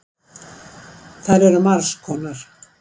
Þær eru margs konar.